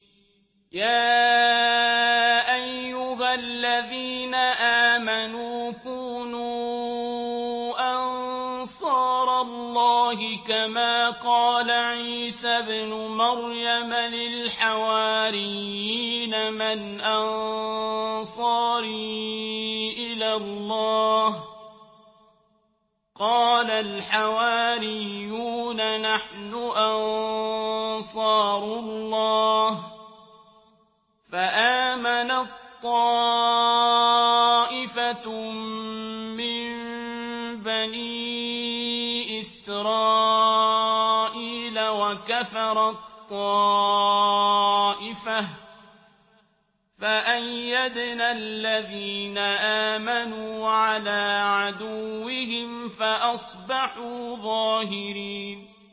يَا أَيُّهَا الَّذِينَ آمَنُوا كُونُوا أَنصَارَ اللَّهِ كَمَا قَالَ عِيسَى ابْنُ مَرْيَمَ لِلْحَوَارِيِّينَ مَنْ أَنصَارِي إِلَى اللَّهِ ۖ قَالَ الْحَوَارِيُّونَ نَحْنُ أَنصَارُ اللَّهِ ۖ فَآمَنَت طَّائِفَةٌ مِّن بَنِي إِسْرَائِيلَ وَكَفَرَت طَّائِفَةٌ ۖ فَأَيَّدْنَا الَّذِينَ آمَنُوا عَلَىٰ عَدُوِّهِمْ فَأَصْبَحُوا ظَاهِرِينَ